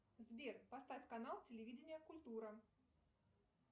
сбер поставь канал телевидения культура